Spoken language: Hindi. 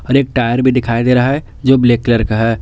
और एक टायर भी दिखाई दे रहा है जो ब्लैक कलर का है।